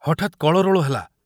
ହଠାତ କଳରୋଳ ହେଲା।